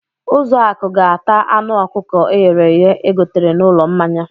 Ụzọakụ ga-ata anụ ọkụkọ e ghere eghe e gotere n'ụlọ mmanya.